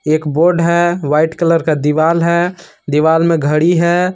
एक बोर्ड है white colour का दिवाल है दीवाल में घड़ी है।